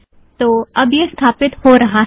तो अब यह स्थापित हो रहा है